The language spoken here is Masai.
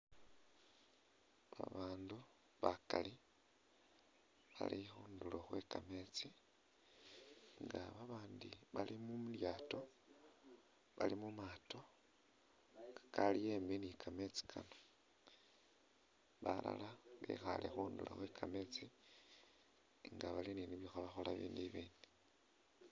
Babandu bakali bali khunduro khwe kametsi nga babandi bali mu lyato bali mumato kali embi nikamesti kano balala bekhaye khunduro khwe’kametsi nga bali nibikholakhola abindi.